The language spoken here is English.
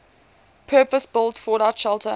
purpose built fallout shelter